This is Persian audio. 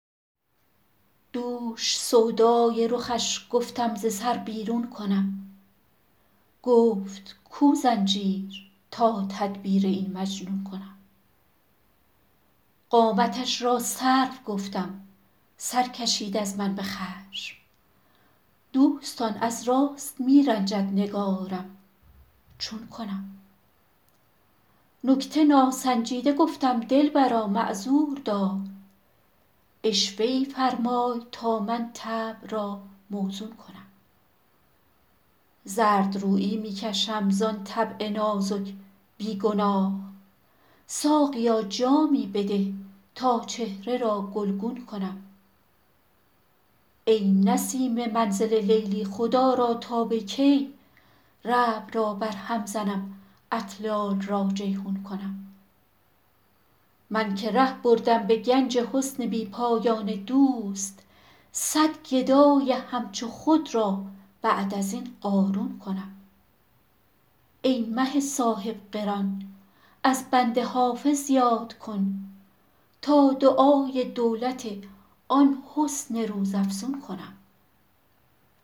دوش سودای رخش گفتم ز سر بیرون کنم گفت کو زنجیر تا تدبیر این مجنون کنم قامتش را سرو گفتم سر کشید از من به خشم دوستان از راست می رنجد نگارم چون کنم نکته ناسنجیده گفتم دلبرا معذور دار عشوه ای فرمای تا من طبع را موزون کنم زردرویی می کشم زان طبع نازک بی گناه ساقیا جامی بده تا چهره را گلگون کنم ای نسیم منزل لیلی خدا را تا به کی ربع را برهم زنم اطلال را جیحون کنم من که ره بردم به گنج حسن بی پایان دوست صد گدای همچو خود را بعد از این قارون کنم ای مه صاحب قران از بنده حافظ یاد کن تا دعای دولت آن حسن روزافزون کنم